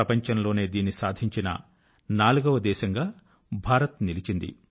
ప్రపంచం లోనే దీనిని సాధించిన నాలుగో దేశం గా భారత్ నిలిచింది